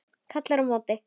Kallar á móti.